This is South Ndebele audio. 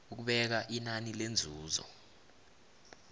ukubeka inani lenzuzo